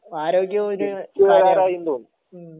ആരോഗ്യ മ്മ്ഹ്